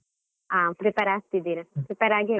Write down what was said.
ಹ, prepare ಆಗ್ತಿದ್ದೀರಾ, prepare .